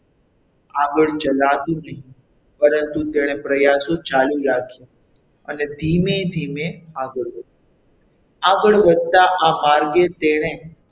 આગળ ચલાતું નહીં પરંતુ તેણે પ્રયાસો ચાલુ રાખ્યા અને ધીમે ધીમે આગળ વધી આગળ વધતા આ માર્ગે તેણે,